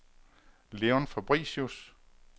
Leon Fabricius